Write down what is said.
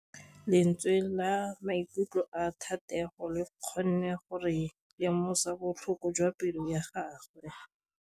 Lentswe la maikutlo a Thategô le kgonne gore re lemosa botlhoko jwa pelô ya gagwe.